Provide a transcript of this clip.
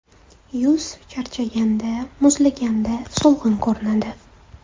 Yuz charchaganda, muzlaganda so‘lg‘in ko‘rinadi.